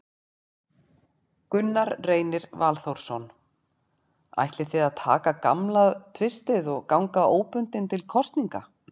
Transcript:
Gunnar Reynir Valþórsson: Ætlið þið að taka gamla tvistið og ganga óbundið til kosninga?